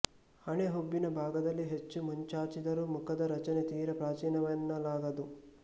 ಹಣೆ ಹುಬ್ಬಿನ ಭಾಗದಲ್ಲಿ ಹೆಚ್ಚು ಮುಂಚಾಚಿದ್ದರೂ ಮುಖದ ರಚನೆ ತೀರ ಪ್ರಾಚೀನವೆನ್ನಲಾಗದು